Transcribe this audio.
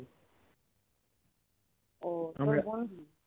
ও